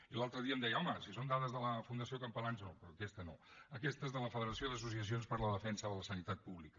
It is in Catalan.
i l’altre dia em deia home si són dades de la fundació campalans no però aquesta no aquesta és de la federació d’associacions per a la defensa de la sanitat pública